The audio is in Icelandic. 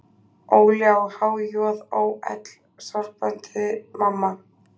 Óli á há-joð-ó-ell, sárbændi mamma.